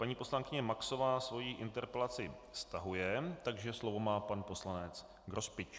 Paní poslankyně Maxová svoji interpelaci stahuje, takže slovo má pan poslanec Grospič.